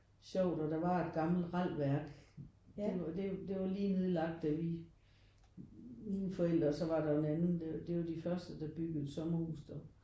Sjovt og der var et gammelt ralværk det det det var lige nedlagt da vi mine forældre og så var der jo en anden det var jo de første der byggede et sommerhus der